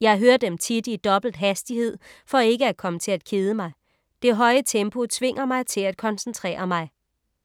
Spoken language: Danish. Jeg hører dem tit i dobbelt hastighed for ikke at komme til at kede mig. Det høje tempo tvinger mig til at koncentrere mig.